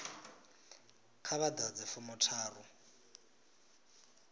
kha vha ḓadze fomo tharu